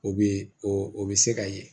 O be o be se ka ye